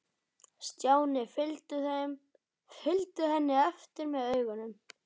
Stjáni fylgdu henni eftir með augunum.